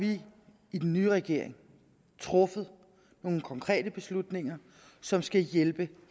vi i den nye regering truffet nogle konkrete beslutninger som skal hjælpe